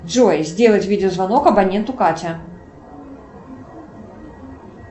джой сделать видеозвонок абоненту катя